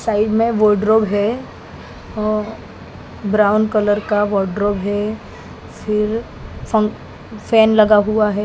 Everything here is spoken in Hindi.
साइड में वार्डरोब है और ब्राउन कलर का वॉर्डरोब है फिर फन फैन लगा हुआ है।